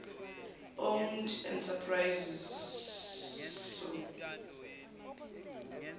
owned enterprises soe